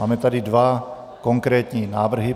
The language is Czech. Máme tady dva konkrétní návrhy.